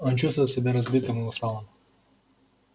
он чувствовал себя разбитым и усталым